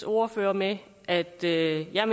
ordføreren at at det her